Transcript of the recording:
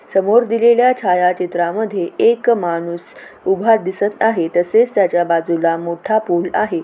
समोर दिलेल्या छायाचित्रा मध्ये एक माणूस उभा दिसत आहे तसेच त्याच्या बाजूला मोठा पूल आहे.